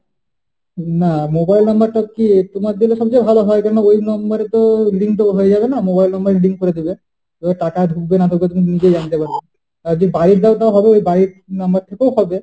না mobile number টা কি তোমার দিলে সবচেয়ে ভালো হয়। কারণ ওই mobile number এ তো link টাও হয়ে যাবে না, mobile number link করে দেবে। তাহলে টাকা ঢুকবে না ঢুকবে তুমি নিজেই জানতে পারবে। আর যদি বাড়ির দাও তাও হবে বাড়ির number থেকেও হবে।